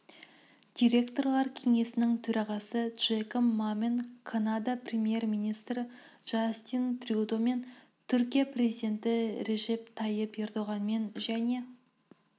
директорлар кеңесінің төрағасы джеком мамен канада премьер-министрі джастин трюдомен түркия президенті режеп тайып ердоғанмен және